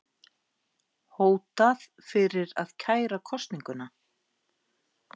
Hótað fyrir að kæra kosninguna